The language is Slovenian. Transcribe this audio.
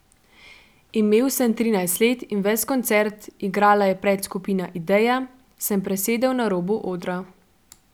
Imel sem trinajst let in ves koncert, igrala je predskupina Ideja, sem presedel na robu odra.